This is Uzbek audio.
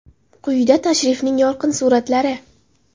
Quyida tashrifning yorqin suratlari.